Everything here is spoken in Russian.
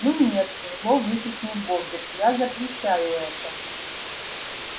ну нет зло выкрикнул богерт я запрещаю это